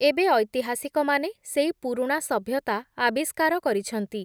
ଏବେ ଐତିହାସିକମାନେ, ସେଇ ପୁରୁଣା ସଭ୍ୟତା, ଆବିଷ୍କାର କରିଛନ୍ତି ।